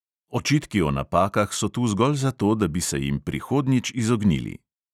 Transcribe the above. Očitki o napakah so tu zgolj zato, da bi se jim prihodnjič izognili.